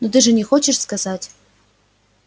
ну ты же не хочешь сказать